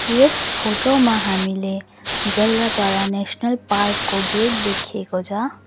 यस photo मा हामीले Jaldapara national park को गेट देखिएको छ।